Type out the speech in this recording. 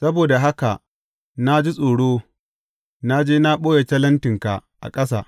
Saboda haka na ji tsoro, na je na ɓoye talentinka a ƙasa.